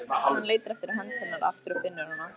Hann leitar eftir hönd hennar aftur og finnur hana.